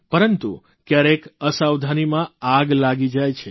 પરંતુ કયારેક અસાવધાનીમાં આગ લાગી જાય છે